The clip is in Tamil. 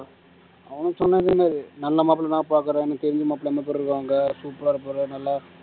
அவங்க சொன்னது என்னது நல்ல மாப்பிள்ளை நா பாக்குறேன் எனக்கு தெரிஞ்ச மாப்பிள்ளை எப்படி இருக்காங்க super ஆ இருப்பாரு நல்லா